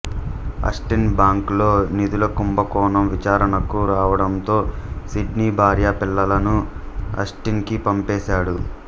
Austin bank లో నిధుల కుంభకోణం విచారణకు రావడంతో సిడ్నీ భార్య పిల్లలను ఆస్టిన్ కి పంపేశాడు